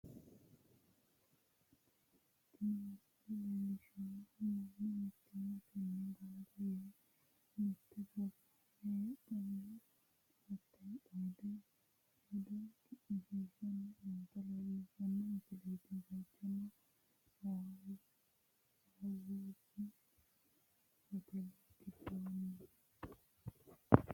tini misile leellishshannohu mannu mittimmatenni gamba yee mitte pirogiraame heedheenna hattera xaade hedo cu'mishshiishanni noota leellishshanno misileti, bayichuno sawuuzi hoteele giddooti.